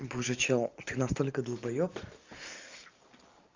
боже чел ты настолько долбаёб